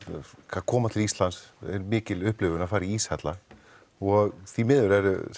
koma til Íslands er mikil upplifun að fara í íshella og því miður eru